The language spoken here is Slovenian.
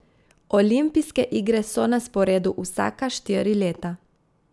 Olimpijske igre so na sporedu vsaka štiri leta ...